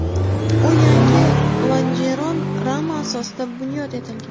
U yangi lonjeron rama asosida bunyod etilgan.